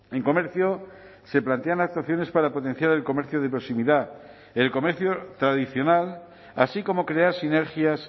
en comercio se plantean actuaciones para potenciar el comercio de proximidad el comercio tradicional así como crear sinergias